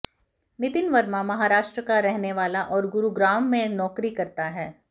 नितिन वर्मा महाराष्ट्र का रहने वाला है और गुरूग्राम में नौकरी करता है